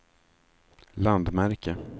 landmärke